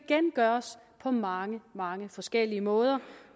gøres på mange mange forskellige måder